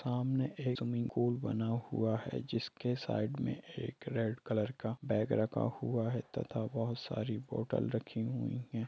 सामने एक swimming pool बना हुआ है जिसके साइड में एक रेड कलर का बैग रखा हुआ है तथा बहुत सारी बॉटल रखी हुई है।